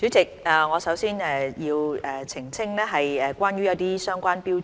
主席，我首先要澄清一些相關標準。